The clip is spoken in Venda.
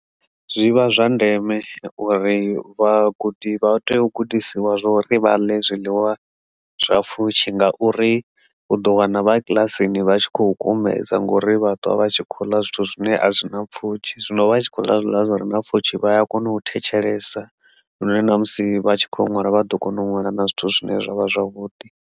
Zwi vha zwa ndeme uri vhagudi vha tea u gudisiwa zwo ri vha ḽe zwiḽiwa zwa pfhushi ngauri u ḓo wana vha kiḽasini vha tshi khou kumedza sa ngori vhatoda vha tshi khou ḽa zwithu zwine a zwi na pfhushi zwino vha tshi khou ḽa zwiḽiwa zwi re na pfhushi vha ya kona u thetshelesa na musi vha tshi kho ṅwala vha ḓo kona u ṅwala na zwithu zwine zwavha zwavhuḓi